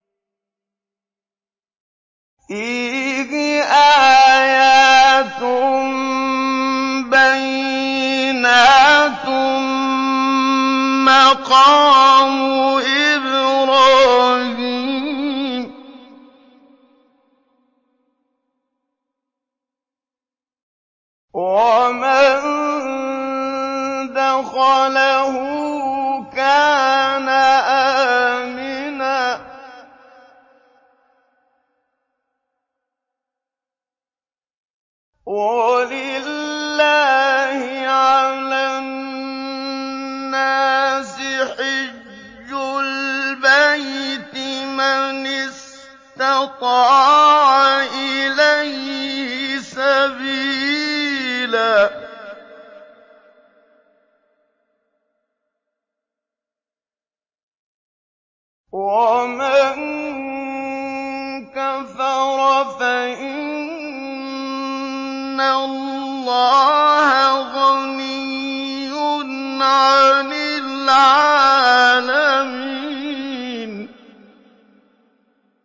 فِيهِ آيَاتٌ بَيِّنَاتٌ مَّقَامُ إِبْرَاهِيمَ ۖ وَمَن دَخَلَهُ كَانَ آمِنًا ۗ وَلِلَّهِ عَلَى النَّاسِ حِجُّ الْبَيْتِ مَنِ اسْتَطَاعَ إِلَيْهِ سَبِيلًا ۚ وَمَن كَفَرَ فَإِنَّ اللَّهَ غَنِيٌّ عَنِ الْعَالَمِينَ